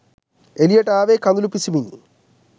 එළියට ආවේ කඳුළු පිසිමිනි